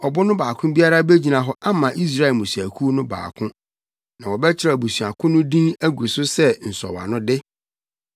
Ɔbo no baako biara begyina hɔ ama Israel mmusuakuw no baako. Na wɔbɛkyerɛw abusua ko no din agu so sɛ nsɔwanode.